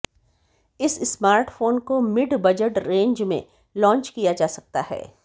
इस स्मार्टफोन को mid budget range में लॉन्च किया जा सकता है